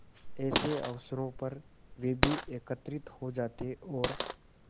ऐसे अवसरों पर वे भी एकत्र हो जाते और